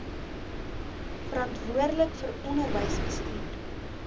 verantwoordelik vir onderwysbestuur